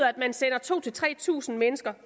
at man sender to tre tusind mennesker